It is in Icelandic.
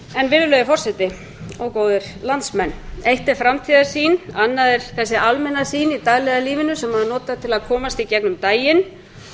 virðulegi forseti góðir landsmenn eitt er framtíðarsýn annað er þessi almenna sýn í daglega lífinu sem maður notar til að komast í gegnum daginn